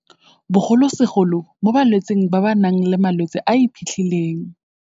Bogolosegolo mo balwetseng ba ba nang le malwetse a a iphitlhileng.